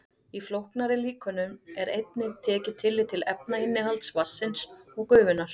Í flóknari líkönum er einnig tekið tillit til efnainnihalds vatnsins og gufunnar.